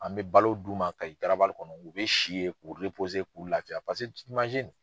An bɛ balo d'u ma Kayi garabali kɔnɔ u bɛ si yen k'u k'u lafiya paseke